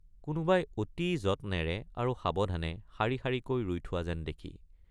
কোনোবাই অতি যত্নেৰে আৰু সাৱধানে শাৰী শাৰীকৈ ৰুই থোৱা যেন দেখি।